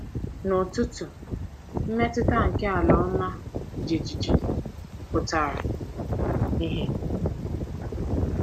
N’ụtụtụ, mmetụta nke ala ọma jijiji pụtara ìhè.